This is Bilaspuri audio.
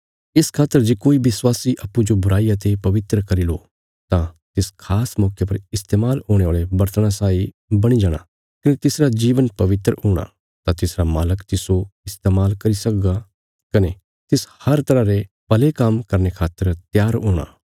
इस खातर जे कोई विश्वासी अप्पूँजो बुराईयां ते पवित्र करी लो तां तिस खास मौके पर इस्तेमाल हुणे औल़े बर्तणा साई बणी जाणा कने तिसरा जीवन पवित्र हूणा तां तिसरा मालक तिस्सो इस्तेमाल करी सकगा कने तिस हर तरह रे भले काम्म करने खातर त्यार हूणा